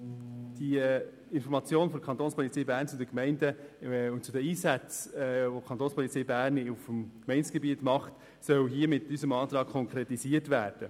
Die Information der Kapo Bern gegenüber den Gemeinden zu den Einsätzen, die sie auf dem Gemeindegebiet leistet, soll mit unserem Antrag konkretisiert werden.